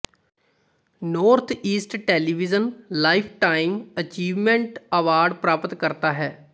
north east television lifetime achievement award ਪ੍ਰਾਪਤਕਰਤਾ ਹੈ